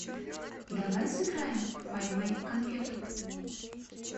давай сыграем в поймай конфету